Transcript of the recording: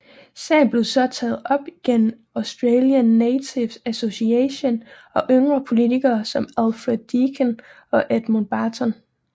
Sagen blev så taget op gennem Australian Natives Association og yngre politikere som Alfred Deakin og Edmund Barton